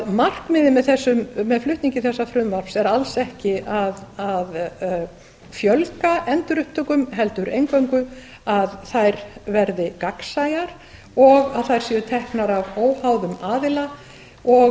markmiðið með flutningi þessa frumvarps er því alls ekki að fjölga endurupptökum heldur eingöngu að þær verði gagnsæjar og að þær séu teknar af óháðum aðila og